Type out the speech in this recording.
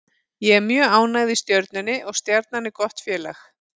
Ég er mjög ánægð í Stjörnunni og Stjarnan er gott félag.